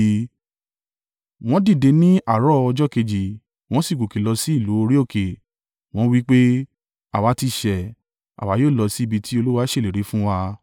Wọ́n dìde ní àárọ̀ ọjọ́ kejì wọ́n sì gòkè lọ sí ìlú orí òkè, wọ́n wí pé, “Àwa ti ṣẹ̀, àwa yóò lọ sí ibi tí Olúwa ṣèlérí fún wa.”